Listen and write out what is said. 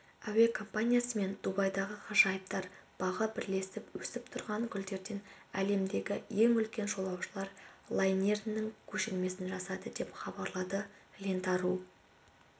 әуе компаниясы мен дубайдағы ғажайыптар бағы бірлесіп өсіп тұрған гүлдерден әлемдегі ең үлкен жолаушылар лайнерінің көшірмесін жасады деп хабарлады лента ру